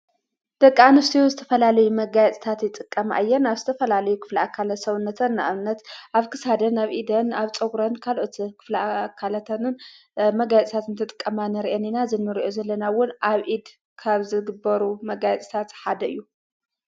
ደቂ ኣንስትዮ ዝተፈላለዩ መጋያጽታት ይጥቀም ኣየን ኣብ ዝተፈላልዩ ኽፍላ እካለት ሰውነተን እብነት ኣፍ ክሳድን ኣብ ኢድን ኣብ ጾጕረን ካልኦትን ኽፍላ አካለተንን መጋያጽታት ን ተጥቀማነርአኒና ዝነርዑ ዘለናውን ኣብ ኢድ ካብ ዝግበሩ መጋያጽታት ሓደ እዩ፡፡